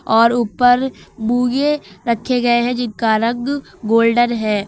और ऊपर मूंगे रखे गए हैं जिनका रंग गोल्डन है।